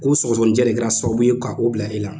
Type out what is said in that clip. Ko sɔgɔsɔgɔnijɛ de kɛra sababu ye ka o bila e la